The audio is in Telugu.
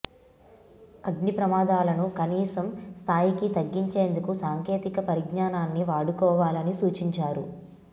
అగ్ని ప్రమాదాలను కనీసం స్థాయికి తగ్గించేందుకు సాంకేతిక పరిజ్ఞానాన్ని వాడుకోవాలని సూచించారు